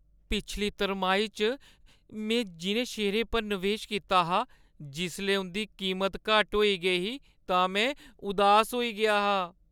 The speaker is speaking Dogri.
पिछली तरमाही च में जिʼनें शेयरें च नवेश कीता हा, जिसलै उंʼदी कीमत घट्ट होई गेई ही तां में उदास होई गेआ हा।